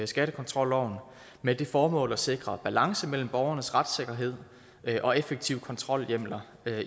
skattekontrolloven med det formål at sikre balance mellem borgernes retssikkerhed og effektive kontrolhjemler